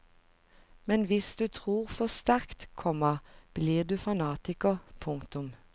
Men hvis du tror for sterkt, komma blir du fanatiker. punktum